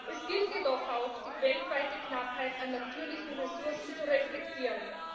Es gilt jedoch auch, die weltweite Knappheit an natürlichen Ressourcen zu reflektieren.